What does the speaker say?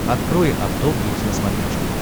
открой авто плюс на смотрешке